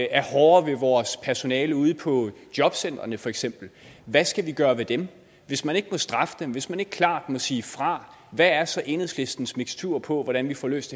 er hårde ved vort personale ude på jobcentrene for eksempel hvad skal vi gøre ved dem hvis man ikke må straffe dem hvis man ikke klart må sige fra hvad er så enhedslistens mikstur på hvordan vi får løst